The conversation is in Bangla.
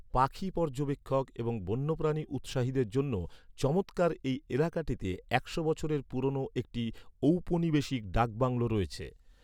পাখি পর্যবেক্ষক এবং বন্যপ্রাণী উৎসাহীদের জন্য চমৎকার এই এলাকাটিতে একশো বছরের পুরনো একটি ঔপনিবেশিক ডাক বাংলো আছে।